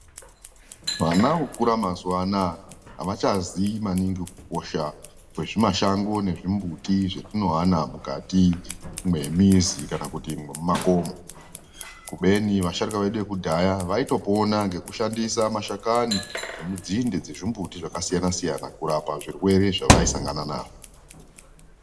Vana vokura mazuwa anaya avachaziyi maningi kukosha kwezvimashango nezvimbuti zvetinowana mukati mwemizi kana kuti mwemakomo kubeni vasharuka vedu yekudhaya vaitopona ngekushandise mashakani nenzinde dzemimbuti dzakasiyana siyana kurapa zvirwere zvavaisangana nazvo.